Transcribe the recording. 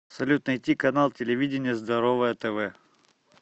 салют найти канал телевидения здоровое тв